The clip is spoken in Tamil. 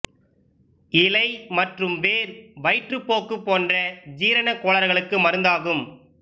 இலை மற்றும் வேர் வயிற்றுப் போக்கு போன்ற ஜீரண கோளாறுகளுக்கு மருந்தாகும்